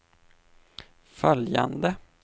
följande